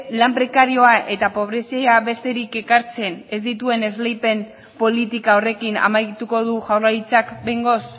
lan prekarioa eta pobrezia besterik ekartzen ez dituen esleipen politika horrekin amaituko du jaurlaritzak behingoz